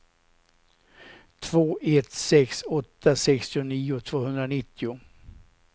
två ett sex åtta sextionio tvåhundranittio